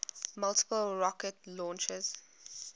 multiple rocket launchers